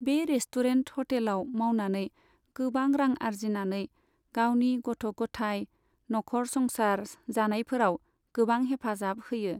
बे रेस्टुरेन्ट, हटेलाव मावनानै गोबां रां आरजिनानै गावनि गथ' गथाय, न'खर संसार जानायफोराव गोबां हेफाजाब होयो।